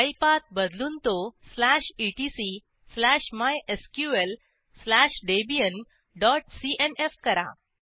file path बदलून तो slash ETC slash MySQL slash Debian dot cnfकरा